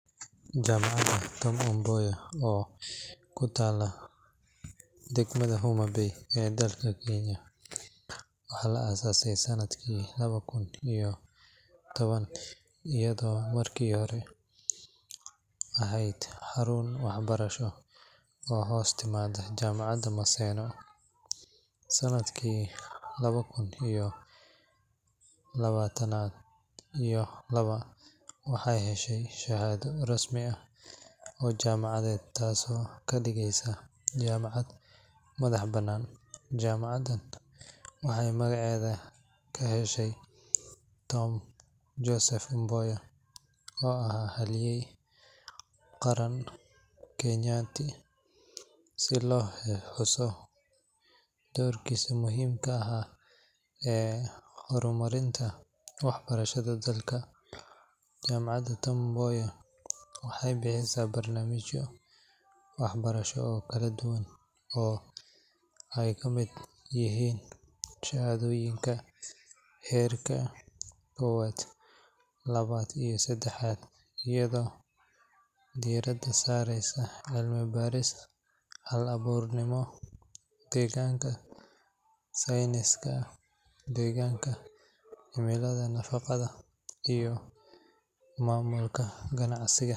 Jaamacadda Tom Mboya, oo ku taalla degmada Homa Bay ee dalka Kenya, waxaa la aasaasay sanadkii laba kun iyo toban, iyadoo markii hore ahayd xarun waxbarasho oo hoos timaadda Jaamacadda Maseno. Sanadkii laba kun iyo labaatan iyo laba, waxay heshay shahaado rasmi ah oo jaamacadeed, taasoo ka dhigaysa jaamacad madax-bannaan. Jaamacaddan waxay magaceeda ka heshay Tom Joseph Mboya, oo ahaa halyey qaran oo Soomaaliyeed, si loo xuso doorkiisii muhiimka ahaa ee horumarinta waxbarashada dalka. Jaamacadda Tom Mboya waxay bixisaa barnaamijyo waxbarasho oo kala duwan, oo ay ka mid yihiin shahaadooyin heerka koowaad, labaad, iyo saddexaad, iyadoo diiradda saareysa cilmi-baaris, hal-abuurnimo, iyo horumarinta bulshada. Barnaamijyada la bixiyo waxaa ka mid ah cilmiga kombiyuutarka, xisaabta, cilmiga deegaanka, sayniska deegaanka, cilmiga nafaqada, iyo maamulka ganacsiga.